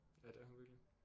Ja det er hun virkelig